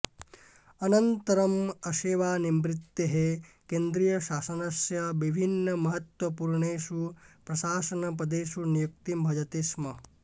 अनन्तरं आसेवानिवृत्तेः केन्द्रीयशासनस्य विभिन्नमहत्त्वपूर्णेषु प्रशासनपदेषु नियुक्तिं भजते स्म